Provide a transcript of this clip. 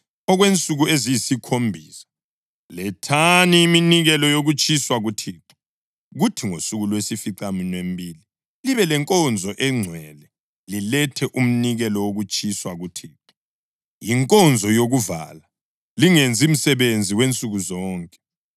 Okwensuku eziyisikhombisa lethani iminikelo yokutshiswa kuThixo, kuthi ngosuku lwesificaminwembili libe lenkonzo engcwele lilethe umnikelo wokutshiswa kuThixo. Yinkonzo yokuvala; lingenzi msebenzi wansuku zonke.